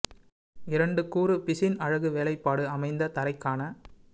இரண்டு கூறு பிசின் அழகு வேலைப்பாடு அமைந்த தரை க்கான